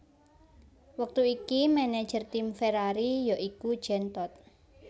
Wektu iki manajer tim Ferrari ya iku Jean Todt